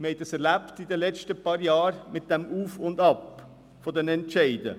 Wir haben das in den letzten paar Jahren mit dem Auf und Ab der Entscheide erlebt.